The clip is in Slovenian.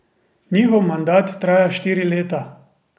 Njihov mandat traja štiri leta.